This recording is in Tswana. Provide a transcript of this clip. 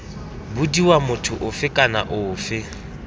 bodiwa motho ofe kana ofe